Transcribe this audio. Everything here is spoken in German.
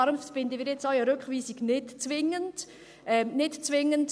Daher finden wir eine Rückweisung nicht zwingend – nicht zwingend.